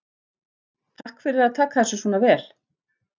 Takk fyrir að taka þessu svona vel?